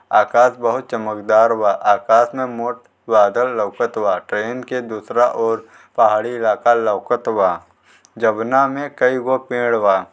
आकाश बहुत चमकदार बा आकाश में मोट बादल लउकत बाटे इनके दूसरा और पहाड़ी इलाका लउकत बा जौना में कई गो पेड़ बा।